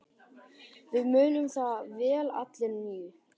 Við munum það vel allir níu.